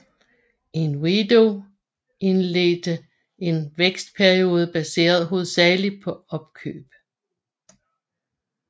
Inwido indledte en vækstperiode baseret hovedsagelig på opkøb